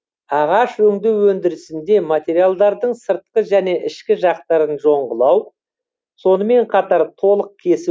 ағаш өңдеу өндірісінде материалдардың сыртқы және ішкі жақтарын жоңғылау сонымен қатар толық кесу